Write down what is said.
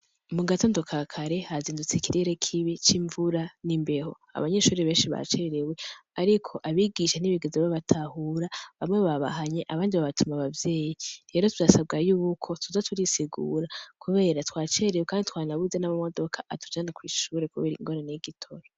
Mu gatandukakare hazindutse ikirere kibi c'imvura n'imbeho abanyeshuri benshi ba cerewe, ariko abigishe n'ibigezo babatahura bamwe babahanye abanje babatuma abavyeyi ntero tyasabwayoubuko tuza turisigura, kubera twacerewe, kandi twanabuze n'amamodoka atujana kw'ishubure, kubera ingorana y'igitoro.